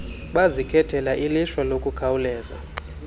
bazikhethela ilishwa lokukhawuleza